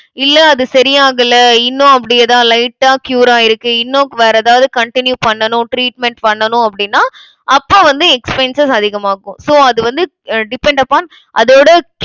இல்லை, அது சரியாகல இன்னும் அப்படியேதான் light ஆ cure ஆயிருக்கு. இன்னும், வேற எதாவது, continue பண்ணணும், treatment பண்ணணும், அப்படின்னா, அப்ப வந்து expenses அதிகமாகும். so அது வந்து depend upon அதோட